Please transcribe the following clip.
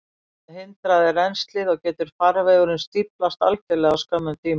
Þá hindrast rennslið, og getur farvegurinn stíflast algjörlega á skömmum tíma.